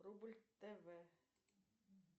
рубль тв